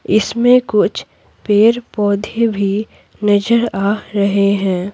इसमें कुछ पेड़-पौधे भी नजर आ रहे हैं।